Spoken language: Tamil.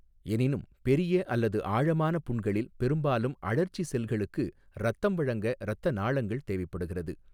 எனினும், பெரிய அல்லது ஆழமான புண்களில் பெரும்பாலும் அழற்சி செல்களுக்கு இரத்தம் வழங்க இரத்த நாளங்கள் தேவைப்படுகிறது.